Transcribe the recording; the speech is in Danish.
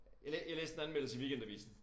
Jeg jeg læste en anmeldelse i Weekendavisen